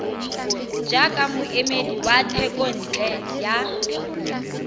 jaaka moemedi wa thekontle ya